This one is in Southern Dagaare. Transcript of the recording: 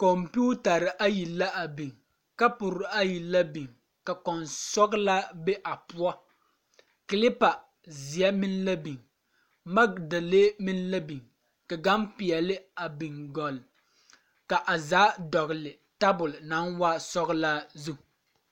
Kɔmpiitare ayi la a biŋ kapure ayi la biŋ ka kɔnsɔɡelaa be a poɔ kelepa zeɛ meŋ la biŋ maŋke dee meŋ la biŋ ka ɡampeɛle a biŋ ɡɔle ka a zaa dɔɡele tabuli naŋ waa sɔɡelaa zu.